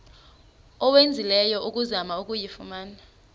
owenzileyo ukuzama ukuyifumana